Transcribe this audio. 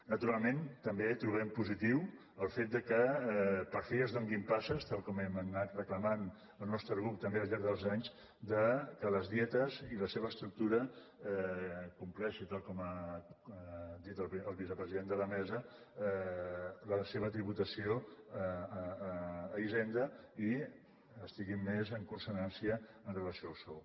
naturalment també trobem positiu el fet que per fi es donin passes tal com hem anat reclamant el nostre grup també al llarg dels anys perquè les dietes i la seva estructura compleixin tal com ha dit el vicepresident de la mesa la seva tributació a hisenda i que estigui més en consonància amb relació al sou